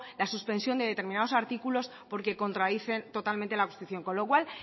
la suspensión de determinados artículos porque contradicen totalmente la constitución con lo cual